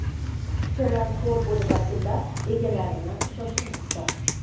Kuchukchalar xor bo‘lib akillab egalarini shoshirmoqda.